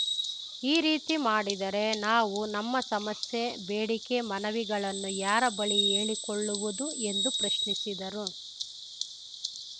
ಈ ರೀತಿ ಮಾಡಿದರೆ ನಾವು ನಮ್ಮ ಸಮಸ್ಯೆ ಬೇಡಿಕೆ ಮನವಿಗಳನ್ನು ಯಾರ ಬಳಿ ಹೇಳಿಕೊಳ್ಳುವುದು ಎಂದು ಪ್ರಶ್ನಿಸಿದರು